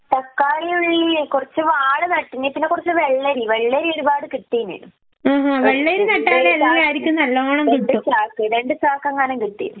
തക്കാളി, ഉള്ളി കൊറച്ച് വാള് നാട്ടീനി, പിന്നെ കൊറച്ച് വെള്ളരി. വെള്ളരി ഒരുപാട് കിട്ടീനി. രണ്ട് ചാക്ക്, രണ്ട് ചാക്ക് എങ്ങാനം കിട്ടി.